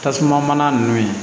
Tasuma mana ninnu